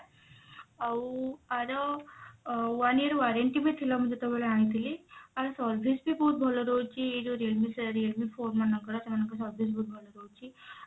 ଆଉ ଆର ଅ one year warranty ବି ଥିଲା ମୁଁ ଯେତେବେଳେ ଆଣିଥିଲି ଆର service ବି ବହୁତ ଭଲ ରହୁଛି ଇଏ ଯଉ realme ସେ realme phone ମାନଙ୍କର ସେମାନଙ୍କର service ବହୁତ ଭଲ ରହୁଛି